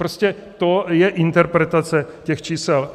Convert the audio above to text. Prostě to je interpretace těch čísel.